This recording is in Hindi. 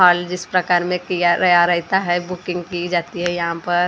हॉल जिस प्रकार में किया गया रहता हैं बुकिंग की जाती है यहाँ पर।